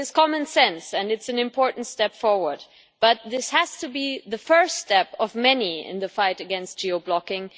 It is common sense and it is an important step forward, but this has to be the first step of many in the fight against geo blocking